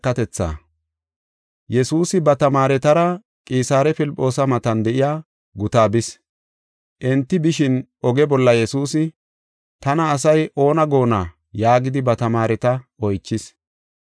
Yesuusi ba tamaaretara Qisaare Filphoosa matan de7iya gutaa bis. Enti bishin oge bolla Yesuusi, “Tana asay oona goonna?” yaagidi ba tamaareta oychis.